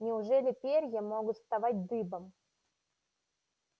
неужели перья могут вставать дыбом